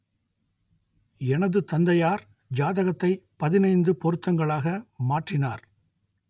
எனது தந்தையார் ஜாதகத்தை பதினைந்து பொருத்தங்களாக மாற்றினார்